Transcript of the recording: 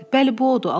Bəli, bu odur.